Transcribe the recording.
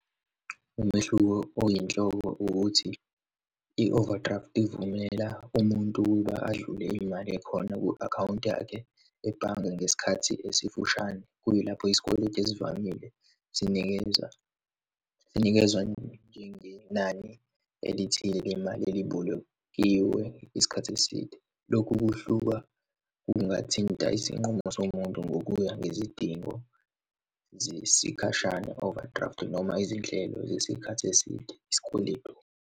Umehluko oyinhloko ukuthi i-overdraft ivumela umuntu uba adlule imali ekhona kwi-akhawunti yakhe ebhange ngesikhathi esifushane, kuyilapho isikweletu esivamile sinikeza, sinikezwa njengenani elithile lemali ebibolekiwe isikhathi eside. Lokhu kuhluka kungathinta isinqumo somuntu ngokuya ngezidingo zesikhashana, overdraft, noma izinhlelo zesikhathi eside, isikweletu.